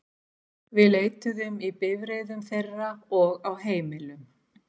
Við leituðum í bifreiðum þeirra og á heimilum.